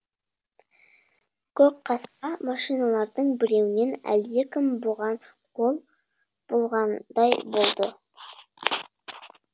көкқасқа машиналардың біреуінен әлдекім бұған қол бұлғандай болды